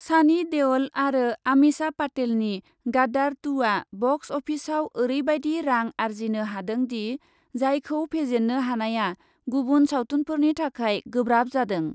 सानि देअल आरो आमिषा पाटेलनि गादार टु आ बक्स अफिसआव ओरैबायदि रां आरजिनो हादोंदि, जायखौ फेजेन्नो हानाया गुबुन सावथुनफोरनि थाखाय गोब्राब जादों।